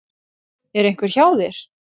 Er einhver hjá þér?